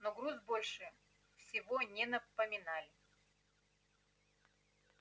но груз больше всего не напоминай